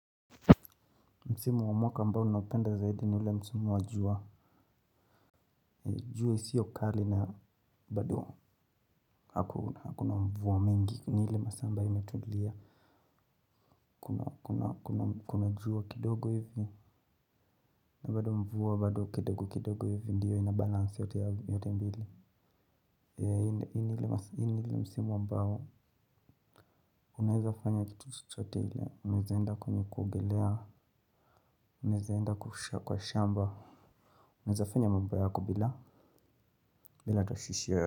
Msimu wa mwaka ambao naupenda zaidi ni ule msimu wa jua jua isiyo kali na bado hakuna mvua mingi ni ile masaa ambayo imetulia kuna jua kidogo hivi na mvua bado kidogo kidogo hivi ndiyo ina balance yote mbili. Hii ni ile msimu ambao unawezafanya kitu chochote ile, unawezaenda kwenye kuogelea unawezaenda kuhusika kwa shamba unawezafanya mambo yako bila, bila tashwishi yoyote.